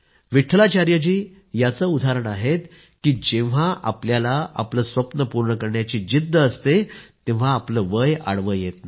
विट्ठलाचार्य जी याचं उदाहरण आहेत की जेव्हा आपल्याला आपले स्वप्न पूर्ण करायची जिद्द असते तेव्हा वय आडवं येत नाही